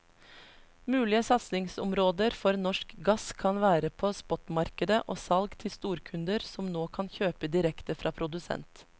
Mulige satsingsområder for norsk gass kan være på spotmarkedet og salg til storkunder som nå kan kjøpe direkte fra produsent.